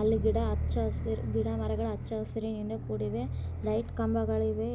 ಅಲ್ಲಿ ಗಿಡಅಚ್ಚ ಹಸಿರಿಗಿಡ ಮರಗಳು ಅಚ್ಚ ಹಸಿರಿನಿಂದ ಕೂಡಿವೆ .ಲೈಟ್ ಕಂಬ ಗಳಿವೆ.